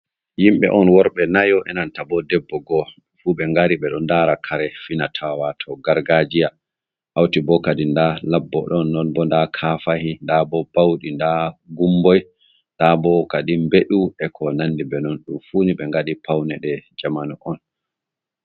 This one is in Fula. Yimɓe on worɓe nayo enanta bo debbo go'o fu ɓe ngari ɓe ɗo dari lara kare finatawa wato gargajiya hauti bo kadin nda labbo ɗon non bo nda kafahi, nda bo bauɗi, nda gumboi, nda bo kadin beɗu e ko nandi be non ɗum funi be ngaɗi paunede jamanu on.